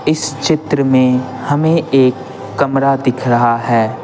इस चित्र में हमें एक कमरा दिख रहा है।